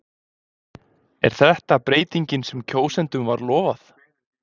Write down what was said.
Er þetta breytingin sem kjósendum var lofað?